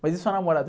Mas e sua namorada?